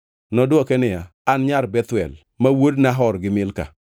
Nodwoke niya, “An nyar Bethuel, ma wuod Nahor gi Milka.”